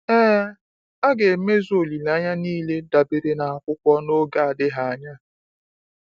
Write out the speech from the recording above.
Ee, a ga-emezu olileanya niile dabere n’akwụkwọ n’oge adịghị anya.